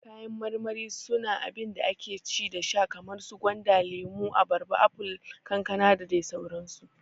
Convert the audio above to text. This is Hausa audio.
Kayan marmari su na abinda ake ci da sha kaman su gwanda, lemo, abarba, apol, kankana dadai sauran su